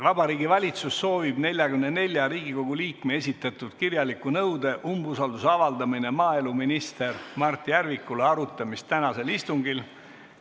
Vabariigi Valitsus soovib 44 Riigikogu liikme esitatud kirjaliku nõude "Umbusalduse avaldamine maaeluminister Mart Järvikule" arutamist tänasel istungil.